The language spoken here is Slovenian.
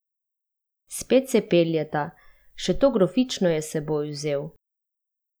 Spet se peljeta, še to grofično je s seboj vzel.